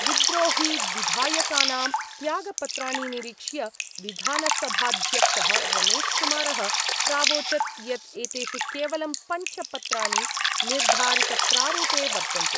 विद्रोहिविधायकानां त्यागपत्राणि निरीक्ष्य विधानसभाध्यक्ष: रमेशकुमार: प्रावोचत् यत् एतेषु केवलं पंच पत्राणि निर्धारितप्रारूपे वर्तन्ते।